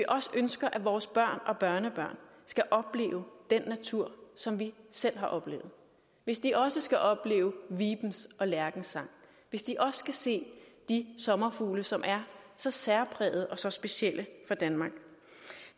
også ønsker at vores børn og børnebørn skal opleve den natur som vi selv har oplevet hvis de også skal opleve vibens og lærkens sang hvis de også skal se de sommerfugle som er så særprægede og så specielle for danmark